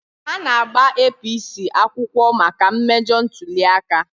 Ha ga-agba APC akwụkwọ maka mmejọ ntuli aka.